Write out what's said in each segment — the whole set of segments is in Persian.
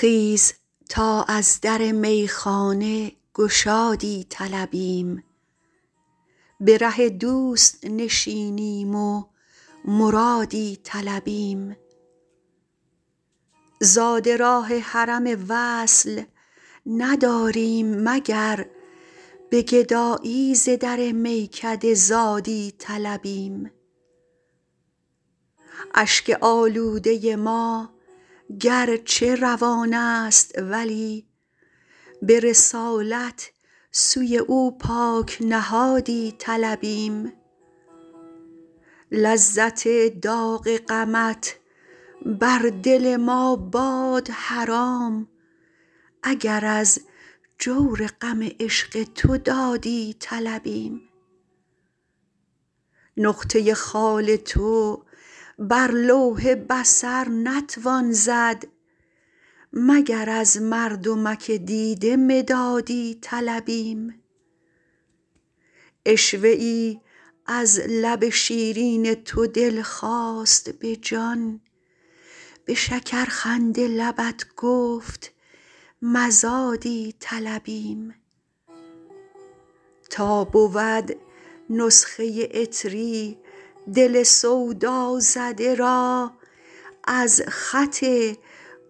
خیز تا از در میخانه گشادی طلبیم به ره دوست نشینیم و مرادی طلبیم زاد راه حرم وصل نداریم مگر به گدایی ز در میکده زادی طلبیم اشک آلوده ما گرچه روان است ولی به رسالت سوی او پاک نهادی طلبیم لذت داغ غمت بر دل ما باد حرام اگر از جور غم عشق تو دادی طلبیم نقطه خال تو بر لوح بصر نتوان زد مگر از مردمک دیده مدادی طلبیم عشوه ای از لب شیرین تو دل خواست به جان به شکرخنده لبت گفت مزادی طلبیم تا بود نسخه عطری دل سودازده را از خط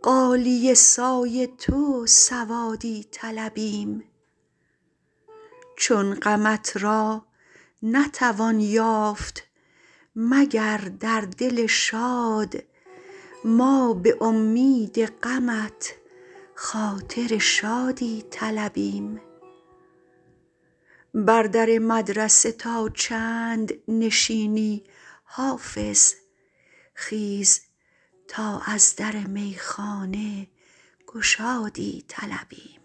غالیه سای تو سوادی طلبیم چون غمت را نتوان یافت مگر در دل شاد ما به امید غمت خاطر شادی طلبیم بر در مدرسه تا چند نشینی حافظ خیز تا از در میخانه گشادی طلبیم